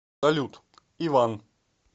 салют иван